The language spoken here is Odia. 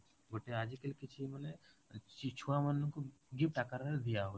ଗୋଟେ ଆଜି କାଲି କିଛି ମାନେ ଛୁଆ ମାନଙ୍କୁ ଗିଫ୍ଟ ଆକାରରେ ଦିଆ ହଉଛି